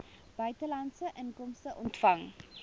buitelandse inkomste ontvang